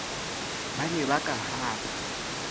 ba ne ba ka hapa